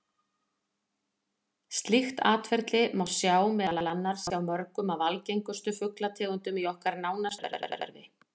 Slíkt atferli má sjá meðal annars hjá mörgum af algengustu fuglategundunum í okkar nánasta umhverfi.